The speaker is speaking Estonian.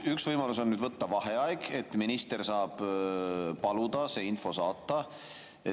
Üks võimalus on võtta vaheaeg, et minister saaks paluda see info saata.